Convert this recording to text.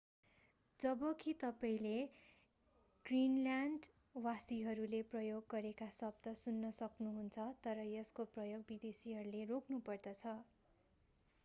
जबकि तपाईंले ग्रिनल्यान्ड वासीहरूले प्रयोग गरेका शब्द सुन्न सक्नुहुन्छ तर यसको प्रयोग विदेशीहरूले रोक्नु पर्दछ